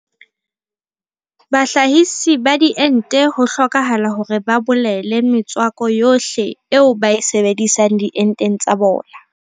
Bahlahise ba diente ho hlokahala hore ba bolele metswako yohle eo ba e sebedisang dienteng tsa bona.